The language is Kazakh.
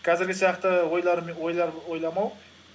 қазіргі сияқты ойлар ойламау